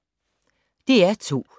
DR2